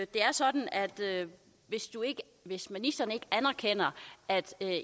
det er sådan at hvis ministeren ikke anerkender at